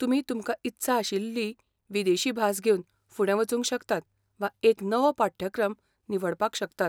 तुमी तुमकां इत्सा आशिल्ली विदेशी भास घेवन फुडें वचूंक शकतात वा एक नवो पाठ्यक्रम निवडपाक शकतात.